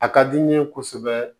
A ka di n ye kosɛbɛ